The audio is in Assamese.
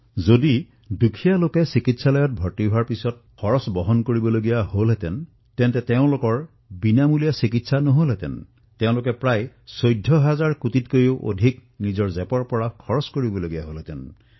যদি দুখীয়াই চিকিৎসালয়ত ভৰ্তি হোৱাৰ পিছত চিকিৎসাৰ বাবে ধন প্ৰদান কৰিবলগীয়া হলহেঁতেন তেওঁলোকৰ যদি বিনামূলীয়া চিকিৎসা নহলহেঁতেন তেন্তে প্ৰায় ১৪ হাজাৰ কোটি টকাতকৈও অধিক টকা নিজৰ পকেটৰ পৰা ব্যয় কৰিবলগীয়া হলহেঁতেন